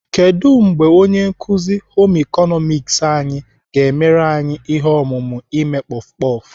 Kedụ mgbe onye nkuzi Home ịkọnọmiks anyị ga-emere anyị ihe omume ime kpọf kpọf?